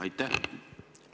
Aitäh!